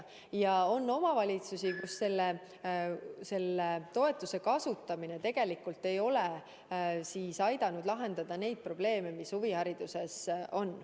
On ka selliseid omavalitsusi, kus toetuse kasutamine ei ole aidanud lahendada neid probleeme, mis huvihariduses on.